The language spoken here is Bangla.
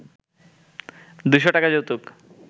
দু’শ টাকা যৌতুক